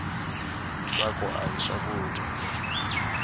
ntsako ahi swakudya